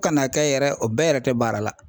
Ka n'a kɛ yɛrɛ o bɛɛ yɛrɛ tɛ baara la.